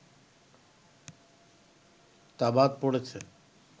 তা বাদ পড়েছে